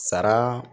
Sara